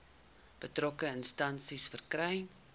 betrokke instansie verkry